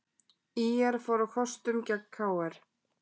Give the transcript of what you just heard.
ÍR fór á kostum gegn KR